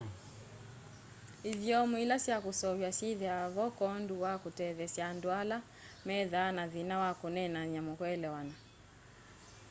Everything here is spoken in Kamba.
ithyomo ila sya kũseũv'wa syĩthĩwa vo kwoondũ wa kũtetheesya andũ ala methaa na thĩna wa kũneenanya kũelewana